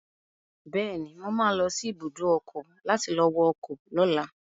Bẹ́ẹ̀ni, mo ma lọ sí ibùdó ọkọ̀ láti lọ wọ ọkọ̀ lọ́la